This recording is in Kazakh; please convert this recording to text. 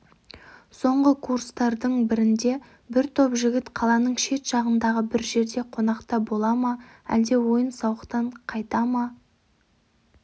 соңғы курстардың бірінде бір топ жігіт қаланын шет жағындағы бір жерде қонақта бола ма әлде ойын-сауықтан қайта ма